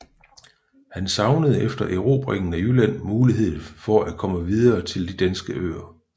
Han savnede efter erobringen af Jylland muligheden for at komme videre til de danske øer